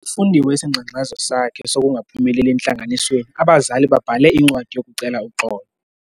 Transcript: Sifundiwe isingxengxezo sakhe sokungaphumeleli entlanganisweni. abazali babhale incwadi yokucela uxolo